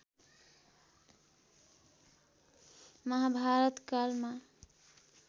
महाभारत कालमा